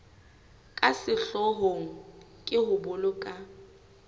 ka sehloohong ke ho boloka